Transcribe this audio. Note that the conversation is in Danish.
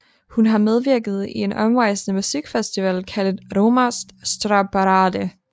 Hun har medvirket i en omrejsende musikfestival kaldet Roma Sztárparádé